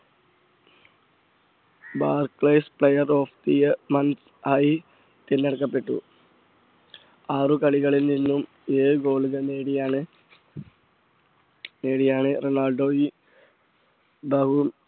player player of the year month ആയി തെരഞ്ഞെടുക്കപ്പെട്ടു. ആറു കളികളിൽ നിന്നും ഏഴ് goal കൾ നേടിയാണ് നേടിയാണ് റൊണാൾഡോ ഈ ബഹു